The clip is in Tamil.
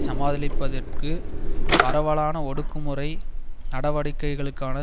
சமாளிப்பதற்கு பரவலான ஒடுக்குமுறை நடவடிக்கைக்களுக்கான